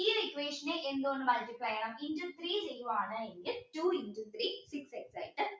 ഈ ഒരു equation നെ എന്തുകൊണ്ട് multiply ചെയ്യണം into three ചെയ്യുവാണെങ്കിൽ two into three six x ആയിട്ട്